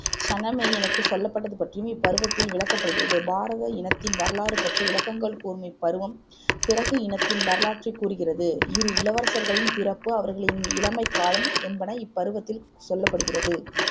சனமேயனுக்குச் சொல்லப்பட்டது பற்றி இப்பருவத்தில் விளக்கப்படுகிறது பாரத இனத்தின் வரலாறு பற்றி விளக்கங்கள் கூறும் இப்பருவம் பிரகு இனத்தின் வரலாற்றை கூறுகிறது இரு இளவரசர்களின் பிறப்பு அவர்களின் இளமைக்காலம் என்பன இப்பருவத்தில் சொல்லப்படுகிறது